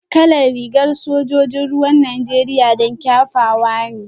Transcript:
Kalar rigar sojojin ruwan Najeriya dan kyafawa ne